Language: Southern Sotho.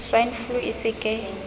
swine flu e se ke